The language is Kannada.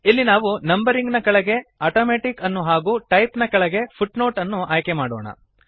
ಇಲ್ಲಿ ನಾವು ನಂಬರಿಂಗ್ ನ ಕೆಳಗೆ ಆಟೋಮ್ಯಾಟಿಕ್ ಅನ್ನು ಹಾಗೂ ಟೈಪ್ ನ ಕೆಳಗೆ ಫುಟ್ನೋಟ್ ಅನ್ನು ಆಯ್ಕೆಮಾಡೋಣ